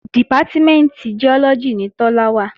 Dìpátímẹ̀ntì Giọ́lọ́gì ni Tọ́lá wà